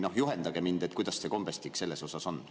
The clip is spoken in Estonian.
Juhendage mind, kuidas see kombestik on.